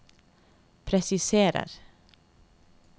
presiserer